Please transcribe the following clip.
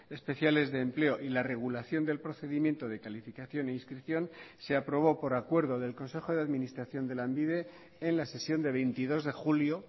especiales de empleo y la regulación del procedimiento de calificación e inscripción se aprobó por acuerdo del consejo de administración de lanbide en la sesión de veintidós de julio